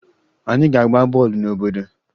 Anyị ga-agba bọọlụ n'obodo